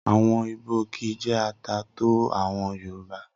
Awọn ìbò kìí jé ata tó àwọn Yorùbá.